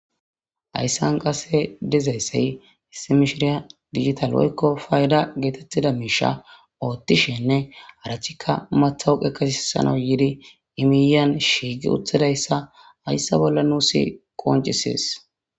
Ayssan qase dezayssey hissimishiriya digital woykko fayda geetettida miisha oothtishenne arachikka mathawu qekesisano yiidi imiyan shiigi utthidayssa hayssa bolla nuusi qoncisees.